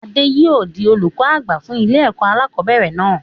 Adé yìí ó di olùkọ́ àgbà fún ilé ẹ̀kọ́ alakọ̀bẹ́ẹ́rẹ̀ náà